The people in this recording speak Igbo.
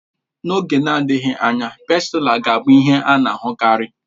N'oge na-adịghị anya, Pástila ga-abụ ihe a na-ahụkarị